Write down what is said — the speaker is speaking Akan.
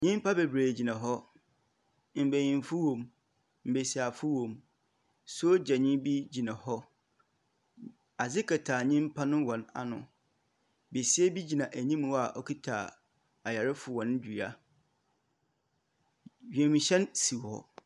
Nyimpa bebree gyina hɔ. Mbenyimfo wom, mbesiafo wom. Sogyani bi gyina hɔ. Adze kata nyimpa no hɔn ano. Besia bi gyina anim hɔ a ɔkita ayarefo hɔn dua. Wiemhyɛn si hɔ.